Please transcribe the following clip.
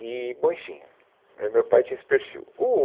E, bom enfim, né, o meu pai tinha esse perfil. O